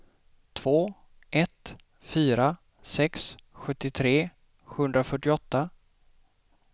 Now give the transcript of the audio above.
två ett fyra sex sjuttiotre sjuhundrafyrtioåtta